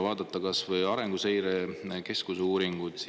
Vaatame kas või Arenguseire Keskuse uuringuid.